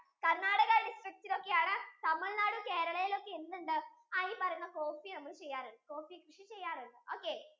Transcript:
Karnatakadistrict യിൽ ഒക്കെ ആണ് TamilNadu, Kerala യിൽ ഒക്കെ എന്ത് ഉണ്ട് ആഹ് ഈ പറയുന്ന coffee നമ്മൾ ചെയ്യാറുണ്ട് coffee കൃഷി ചെയ്യാറുണ്ട് okay